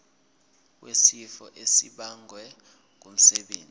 wesifo esibagwe ngumsebenzi